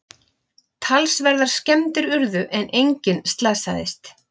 Talsverðar skemmdir urðu en enginn slasaðist